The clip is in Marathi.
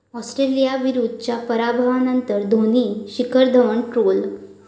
ऑस्ट्रेलियाविरूद्धच्या पराभवानंतर धोनी, शिखर धवन ट्रोल